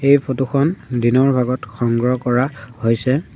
এই ফটো খন দিনৰ ভাগত সংগ্ৰহ কৰা হৈছে।